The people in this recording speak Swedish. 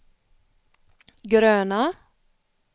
gröna